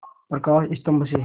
प्रकाश स्तंभ से